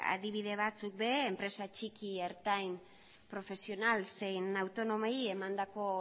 adibide batzuk ere enpresa txiki ertain profesional zein autonomoei emandako